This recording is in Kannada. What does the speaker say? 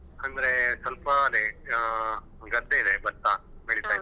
ಅಂದ್ರೆ ಸ್ವಲ್ಪ ಅದೇ ಅಹ್ ಗದ್ದೆ ಇದೆ ಭತ್ತ ಬೆಳಿತಾ ಇದ್ದೇವೆ.